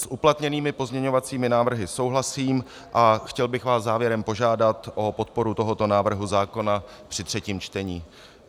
S uplatněnými pozměňovacími návrhy souhlasím a chtěl bych vás závěrem požádat o podporu tohoto návrhu zákona při třetím čtení.